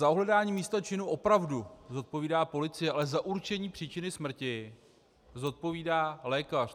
Za ohledání místa činu opravdu zodpovídá policie, ale za určení příčiny smrti zodpovídá lékař.